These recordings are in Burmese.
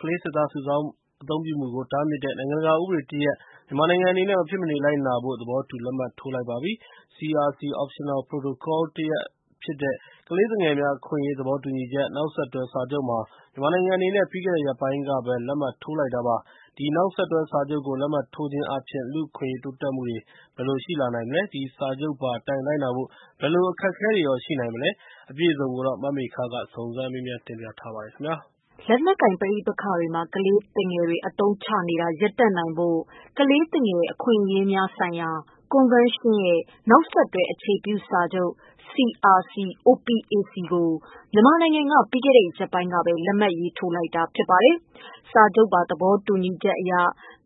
ကလေးစစ်သား စုဆောင်းအသုံးပြုမှုကို တားမြစ်တဲ့ နိုင်ငံတကာ ဥပဒေတရပ် မြန်မာနိုင်ငံအနေနဲ့ မဖြစ်မနေလိုက်နာဖို့ သဘောတူ လက်မှတ်ထိုး လိုက်ပါပြီ ။ CRC optional protocol တရပ်ဖြစ်တဲ့ ကလေးသူငယ်များ အခွင့်အရေး သဘောတူညီချက်၊ နောက်ဆက်တွဲစာချုပ်မှာ မြန်မာနိုင်ငံအနေနဲ့ ပြီးခဲ့တဲ့ရက်ပိုင်းကပဲ လက်မှတ်ထိုးလိုက်တာပါ။ ဒီ နောက်ဆက်တွဲစာချုပ်ကို လက်မှတ်ထိုးခြင်းအားဖြင့် လူ့အခွင့်အရေးတိုးတက်မှုတွေ ဘယ်လိုရှိလာမလဲ၊ ဒီစာချုပ်ပါအတိုင်း လိုက်နာဖို့ ဘယ်လို အခက်အခဲတွေရှိနိုင်မလဲ။ မမေခက စုံစမ်းမေးမြန်းထားပါတယ်။ လက်နက်ကိုင် ပဋိပက္ခတွေမှာ ကလေးသူငယ် အသုံးချနေတာ တွေရပ်တန့် နိုင်ဖို့ကလေးသူငယ်အခွင့်အရေးများ ဆိုင်ရာ ကွန်ဗင်းရှင်း၏ နောက်ဆက်တွဲ အခြေပြစာချုပ် (CRC-OPAC) ကို မြန်မာနိုင်ငံက ပြီးခဲ့တဲ့ရက်ပိုင်းကပဲ လက်မှတ်ရေးထိုး လိုက်တာဖြစ်ပါတယ် စာချုပ်ပါ သဘောတူညီချက်အရ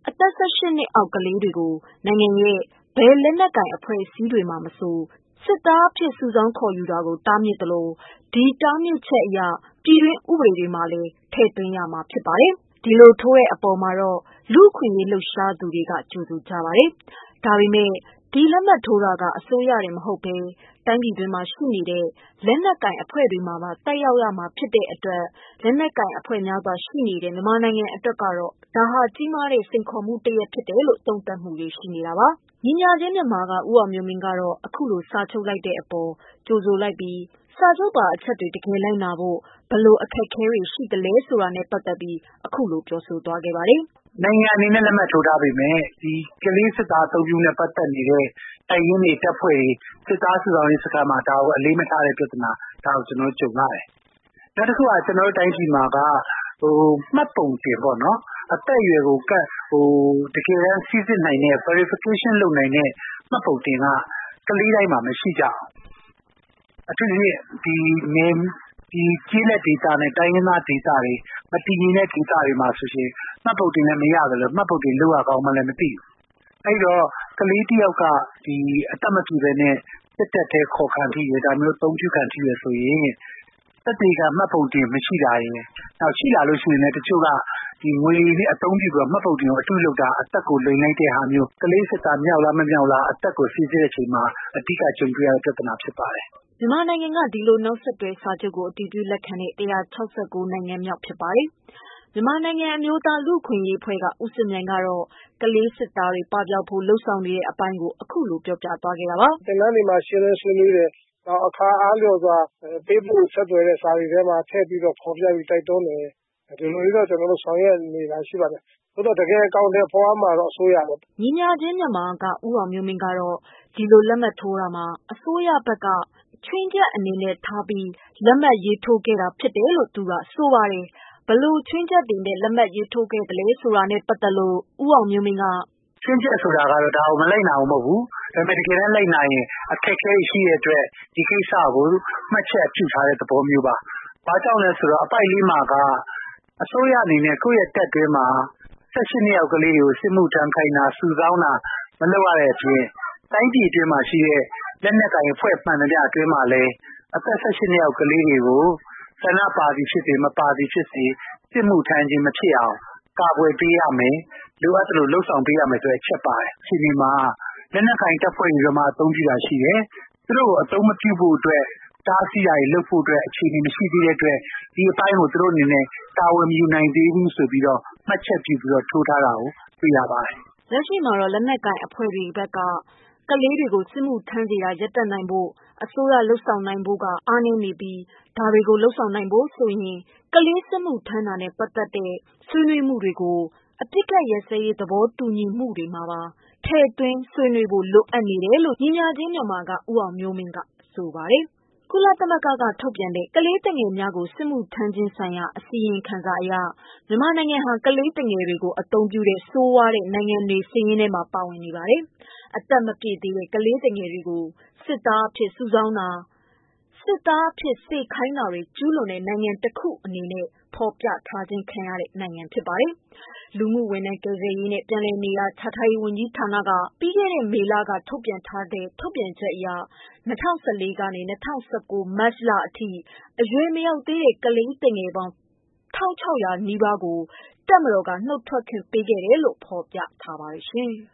အသက် ၁၈နှစ်အောက် ကလေးငယ်တွေကို နိုင်ငံရဲ့ ဘယ်လက်နက်ကိုင် အဖွဲ့အစည်းတွေမှာမဆို စစ်သားအဖြစ် စုဆောင်းခေါ်ယူတာ တားမြစ်သလို၊ ဒီ တားမြစ်ချက်ကို ပြည်တွင်းဥပဒေမှာလည်း ထည့်သွင်း ရမှာ ဖြစ်ပါတယ်။ ဒီလိုထိုးတဲ့ အပေါ်မှာတော့ လူ့အခွင့်အရေးလှုပ်ရှားသူတွေက ကြိုဆိုကြ ပါတယ်။ ဒါပေမယ့် ဒီလက်မှတ်ထိုးတာက အစိုးရတင်မဟုတ်ဘဲ တိုင်း ပြည်တွင်းမှာရှိတဲ့ လက်နက်ကိုင် အဖွဲ့တွေမှာပါ သက်ရောက်တာဖြစ်တဲ့ အတွက် လက်နက်ကိုင်အဖွဲ့ များစွာ လှုပ်ရှားနေတဲ့ မြန်မာနိုင်ငံ အတွက်တော့ ဒါဟာ စိန်ခေါ်မှုတခု ဖြစ်စေတယ်လို့ သုံးသပ်တာတွေရှိနေ တာပါ။ ညီမ ျှခြင်းမြန်မာ က ဦးအောင်မျိုးမင်းကတော့ အခုလိုစာချုပ်လိုက်တဲ့ အပေါ်ကြိုဆိုလိုက်ပြီး စာချုပ်ပါအချက်တွေ တကယ် လိုက်နာနိုင်ဖို့ဘယ်လိုအခက်အခဲတွေ ရှိနေသလဲဆိုတာနဲ့ပတ်သတ်လို့ သူကအခုလိုပြောပြလာတာပါ။ “နိုင်ငံအနေနဲ့ လက်မှတ်ထိုးထားပေမယ့် ကလေးစစ်သားနဲ့ ပတ်သတ်လို့ အသုံးပြုနေတဲ့ တပ်ရင်းတွေ တပ်ဖွဲ့တွေ စစ်သားစုဆောင်းရေးမှာ ဒါကို အလေးမထားတဲ့ ပြဿနာ ဒါကို ကျနော်တို့ ကြုံနေရတယ်။ နောက်တခုက ကျနော်တို့ တိုင်းပြည်မှာက မှတ်ပုံတင်ပေါ့နော် အသက်အရွယ်ကို တကယ်တမ်း စိစစ်နိုင်တဲ့ Verification လုပ်နိုင်တဲ့ မှတ်ပုံတင်မျိုးကကလေးတိုင်းမှာမရှိကြဘူး။ အထူးသဖြင့် ကျေးလက်ဒေသနဲ့ တိုင်းရင်းသား ဒေသတွေ၊ မတည်ငြိမ်တဲ့ ဒေသတွေ မှာဆိုရင် မှတ်ပုံတင်ဆိုတာလည်း မရသလို ၊ မှတ်ပုံတင် လုပ်ရကောင်းမှန်းလည်း မသိဘူး။ အဲဒီတော့ ကလေးတယောက်က အသက်မပြည့်ပဲနဲ့ စစ်တပ်ထဲ အခေါ်ခံထိတယ် ဆိုရင် သက်သေခံ မှတ်ပုံတင်မရှိတာ၊ ရှိရင်လည်း တချို့က ငွေတွေ အသုံးပြုပြီးတော့ မှတ်ပုံတင်ကို အတုလုပ်တာ အသက်ကို လိမ်လိုက်တာမျိုး ကလေးစစ်သားဟုတ်လား မဟုတ်လား ဆိုတာအသက်ကို စိစစ်တဲ့အချိန်မှာ အဓိက ကြုံတွေ့ရတဲ့ ပြဿနာ ဖြစ်ပါတယ်။” မြန်မာနိုင်ငံကဒီလို နောက်ဆက်တွဲစာချုပ်ကို အတည်ပြုလက်ခံတဲ့ ၁၆၉ နိုင်ငံမြောက် ဖြစ်ပါတယ်။ မြန်မာနိုင်ငံ အမျိုးသားလူ့အခွင့်အရေးအဖွဲ့က ဦးစစ်မြိုင်ကတော့ ကလေး စစ်သားပပျောက်ရေးနဲ့ ပတ်သတ်လို့ လုပ်ဆောင်နေတဲ့ အပိုင်းကိုအခုလို ပြောပြလာတာပါ။ “ ကျနော်တို့ ဒီမှာ ရှင်းလင်းဆွေးနွေးတယ်။ အခါအားလျော်စာပေးပို့တဲ့ စာတွေမှာလည်း ထည့်ပြီးတော့ ဖော်ပြ တိုက်တွန်းဒါတွေ အဲလိုတွေ ကျနေ်တို့ ဆောင်ရွက်နေတာတွေရှိပါတယ်။ တကယ်အကောင်အထည်ဖော်ရမှာတော့ အစိုးရပါပဲ။” ညီမ ျှခြင်းမြန်မာက ဦးအောင်မျိုးမင်း က ဒီလိုလက်မှတ်ထိုးတာမှာ အစိုးရဘက်ကတော့ ချွင်းချက်အနေနဲ့ ထားပြီး လက်မှတ်ရေးထိုးထားတယ်လို့ဆိုပါတယ်။ ဘယ်လိုချွင်းချက်ထားလက်မှတ်ရေးထိုးတာလဲဆိုတာနဲ့ သူက "ချွင်းချက်ဆိုတာက ဒါကို မလိုက်နာတာ မဟုတ်ဘူး ဒါပေမယ့် တကယ်တမ်းလိုက်နာရင် အခက်အခဲ တွေရှိတဲ့အတွက် ဒီကိစ္စကို မှတ်ချက်ပြုထားတဲ့ သဘောမျိုးပါ။ ဘာကြောင့်လဲဆိုတော့ အပိုဒ် ၄ မှာက အစိုးရအနေနဲ့ ကိုယ့်တပ်အတွင်းမှာ ၁၈ နှစ်အောက်ကလေးတွေကို စစ်မှုထမ်းခိုင်းတာတို့ စုဆောင်းတာတို့ မလုပ်ရတဲ့အပြင် တိုင်းပြည်အတွင်းမှာရှိတဲ့ လက်နက်ကိုင်အဖွဲ့ မှန်သမျှအတွင်းမှာလည်း အသက် ၁၈ နှစ်အောက် ကလေးတွေကို ဆန္ဒပါသည် ဖြစ်စေ ၊ မပါသည်ဖြစ်စေ စစ်မှုထမ်းခြင်းမဖြစ်အောင် ကာကွယ်ပေးရမယ် လိုအပ်သလို လုပ်ဆောင်ပေးရမယ် ဆိုတဲ့ အချက်ပါရှိတဲ့ အခြေအနေမှာ လက်နက်ကိုင် တပ်ဖွဲ့တွေက အသုံးပြုတာတွေရှိတယ်။ သူတို့ကို အသုံးမပြုဖို့အတွက် တားဆီးတာတွေ လုပ်ဖို့အတွက် အခြေအနေ မရှိသေးတဲ့အတွက် ဒီအပိုင်းကို သူတို့အနေနဲ့ တာဝန်မယူနိုင်သေးဘူး ဆိုပြီးတော့ မှတ်ချက်ပြုပြီးတော့ထိုးထားတာကို တွေ့ရပါတယ်။” လက်ရှိမှာတော့လက်နက်ကိုင် တပ်ဖွဲ့တွေအများစုက ကလေး တွေကို စစ်မှုထမ်း စေတာရပ်တန့်နိုင်ဖို့ အစိုးရလုပ်ဆောင်နေဖို့က အားနည်းနေပြီး ဒါတွေကို လုပ်ဆောင်နိုင်ဖို့ဆိုရင်ကလေး စစ်မှု ထမ်းတာနဲ့ပတ်သတ်တဲ့ ဆွေးနွေးမှုတွေကို အပစ်ခတ်ရပ်စဲရေး သဘောတူညီမှုတွေမှာပါထည့်သွင်း လုပ်ဆောင်ဖို့လိုအပ်နေတယ်လို့ ညီမ ျှခြင်းမြန်မာ က ဦးအောင်မျိုးမင်းက ဆိုပါတယ်။ ကုလသမဂ္ဂ ကထုတ်ပြန်တဲ့ ကလေးသူငယ်များကို စစ်မှုထမ်းစေခြင်း ဆိုင်ရာ အစီရင်ခံစာအရ မြန်မာနိုင်ငံဟာကလေးသူငယ်အသုံးပြုတဲ့ ဆိုးဝါးတဲ့ နိုင်ငံစာရင်းထဲမှာ ပါဝင်နေပါတယ်။ အသက်မပြည့်သေးသော ကလေးသူငယ်များအား စစ်သားအဖြစ် စုဆောင်းခြင်း၊ စေခိုင်းခြင်းများ ကျူးလွန် တဲ့နိုင်ငံတခုအနေနဲ့ဖော်ပြထား ခံရတဲ့ နိုင်ငံတခုဖြစ်ပါတယ်။ လူမှုဝန်ထမ်း ကယ်ဆယ်ရေးနှင့် ပြန်လည်နေရာချထားရေး ဝန်ကြီးဌာနက ပြီးခဲ့တဲ့ မေလက ထုတ်ပြန်ချက်အရ ၂၀၁၄ မှ ၂၀၁၉ မတ်လအထိ အရွယ်မရောက်သေးတဲ့ ကလေးသူငယ်ပေါင်း ၁၆၀၀ နီးပါးကို တပ်မတော်မှ နုတ်ထွက် ခွင့်ပေးခဲ့တယ်လို့ ဖော်ပြထားပါတယ်။